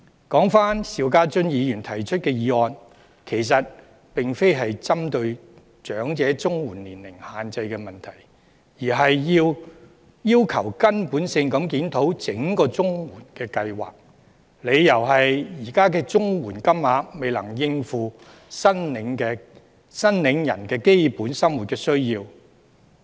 說回邵家臻議員提出的議案，其實並非針對長者綜援年齡限制的問題，而是要求根本地檢討整個綜援計劃，理由是現時的綜援金額未能應付申領人的基本生活需要。